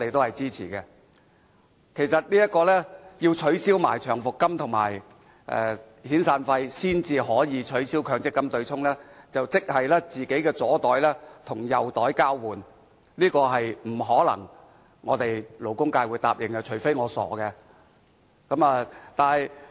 如果說要一併取消長期服務金和遣散費，才可以取消強積金對沖機制，即是"左袋與右袋交換"，這是我們勞工界不可能答應的，除非我們是傻的。